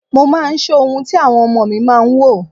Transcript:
Mo máa ń sọ ohun tí àwọn ọmọ mi máa ń wò.